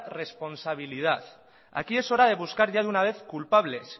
responsabilidad aquí es hora de buscar ya de una vez culpables